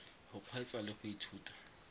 go kgweetsa le go ithuta